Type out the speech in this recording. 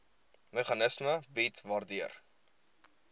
meganisme bied waardeur